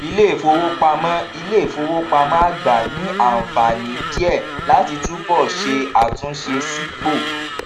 iléìfowópamọ iléìfowópamọ àgbà ní ànfààní díẹ láti túbò ṣe àtúnṣe sípò